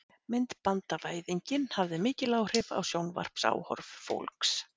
myndbandavæðingin hafði mikil áhrif á sjónvarpsáhorf fólks